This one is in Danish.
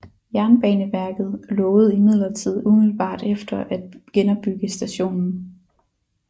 Jernbaneverket lovede imidlertid umiddelbart efter at genopbygge stationen